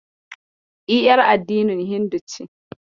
E, yar addinin Hindu ce.